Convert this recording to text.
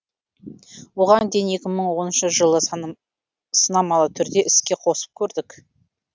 оған дейін екі мың оныншы жылы сынамалы түрде іске қосып көрдік